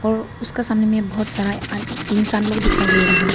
और उसका सामने में बहोत सारा अं इंसान लोग दिखाई दे रहा है।